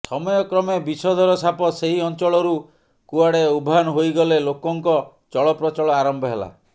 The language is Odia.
ସମୟକ୍ରମେ ବିଷଧର ସାପ ସେଇ ଅଞ୍ଚଳରୁ କୁଆଡ଼େ ଉଭାନ୍ ହୋଇଗଲେ ଲୋକଙ୍କ ଚଳପ୍ରଚଳ ଆରମ୍ଭ ହେଲା